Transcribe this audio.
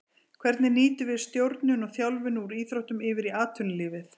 Hvernig nýtum við stjórnun og þjálfun úr íþróttum yfir í atvinnulífið.